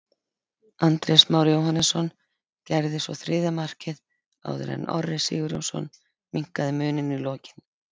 Andrés Már Jóhannesson gerði svo þriðja markið áður en Orri Sigurjónsson minnkaði muninn í lokin.